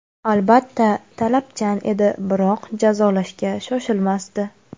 Albatta, talabchan edi, biroq jazolashga shoshilmasdi.